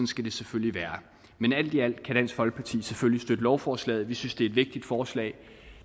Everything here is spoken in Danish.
skal det selvfølgelig være men alt i alt kan dansk folkeparti selvfølgelig støtte lovforslaget vi synes det er et vigtigt forslag